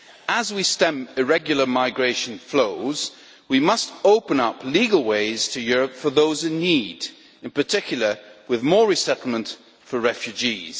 As we stem irregular migration flows, we must open up legal ways to Europe for those in need, in particular with more resettlement for refugees.